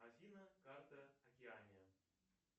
афина карта океания